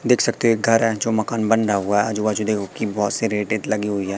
देख सकते एक घर है जो मकान बन रहा हुआ है आजू बाजू देखो कि बहुत सी रेत वेत लगी हुई है।